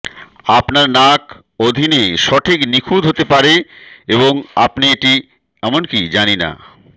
আপনার নাক অধীনে সঠিক নিখুঁত হতে পারে এবং আপনি এটি এমনকি জানি না